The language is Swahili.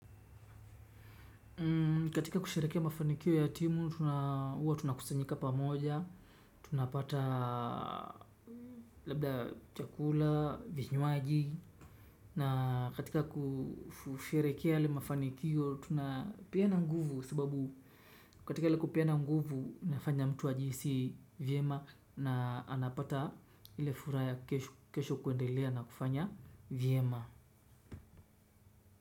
Katika kusherekea mafanikio ya timu, uwa tunakusanyika pamoja, tunapata labda chakula, vinywaji, na katika kusherekea yale mafanikio, tunapiana nguvu sababu katika ale kupiana nguvu, nafanya mtu wa jisi viema na anapata ilifura ya kesho kuendelea na kufanya viema.